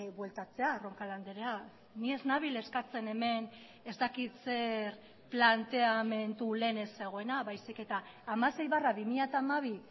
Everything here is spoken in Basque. bueltatzea roncal andrea ni ez nabil eskatzen hemen ez dakit zer planteamendu lehen ez zegoena baizik eta hamasei barra bi mila hamabi